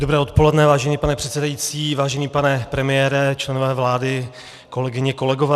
Dobré odpoledne, vážený pane předsedající, vážený pane premiére, členové vlády, kolegyně, kolegové.